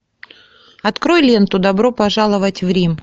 открой ленту добро пожаловать в рим